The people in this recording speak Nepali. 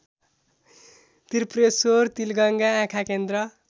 त्रिपुरेश्वर तिलगङ्गा आँखाकेन्द्र